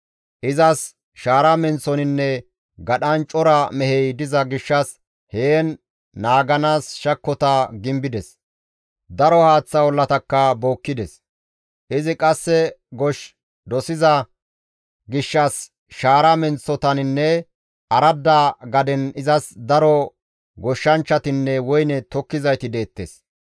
Izas shaara menththoninne gadhan cora mehey diza gishshas heen naaganaas shakkota gimbides; daro haaththa ollatakka bookkides; izi qasse gosh dosiza gishshas shaara menththotaninne aradda gaden izas daro goshshanchchatinne woyne tokkizayti deettes.